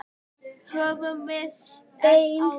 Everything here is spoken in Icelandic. Höfum við ekki sést áður?